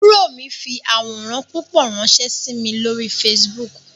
Àbúrò mi fi àwòrán púpọ̀ ránsẹ́ sí mi lórí Facebook